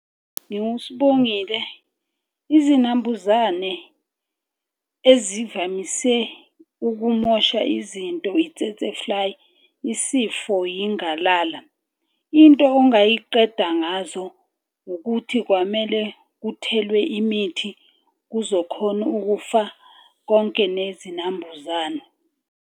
NginguSibongile. Izinambuzane ezivamise ukumosha izinto isifo yingalala. Into ongayiqeda ngazo ukuthi kwamele kuthelwe imithi kuzokhona ukufa konke nezinambuzane.